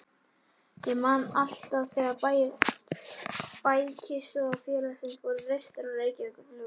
Ég man alltaf þegar bækistöðvar félagsins voru reistar á Reykjavíkurflugvelli.